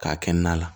K'a kɛ na la